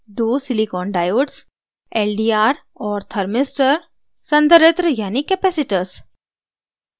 दो silicon diodes